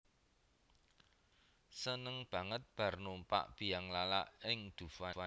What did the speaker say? Seneng banget bar numpak bianglala ning Dufan